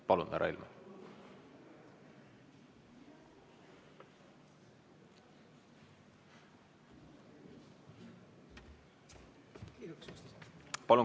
Palun, härra Helme!